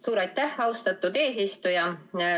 Suur aitäh, austatud eesistuja!